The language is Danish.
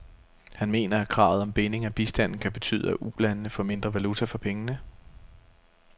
Han mener, at kravet om binding af bistanden kan betyde, at ulandene får mindre valuta for pengene.